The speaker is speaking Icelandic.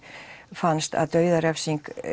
fannst að dauðarefsing